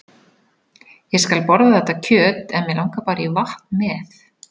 Ég skal borða þetta kjöt en mig langar bara í vatn með.